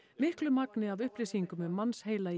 miklu magni af upplýsingum um mannsheila í